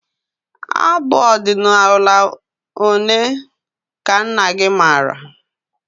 Abụ ọdịnala ole ka nna gị maara?